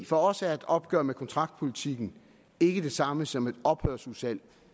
for os er et opgør med kontraktpolitikken ikke det samme som et ophørsudsalg